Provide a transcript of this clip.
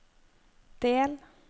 del